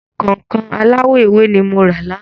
Kọ̀nkọ̀n aláwọ̀ ewé ni mo rà lánàá.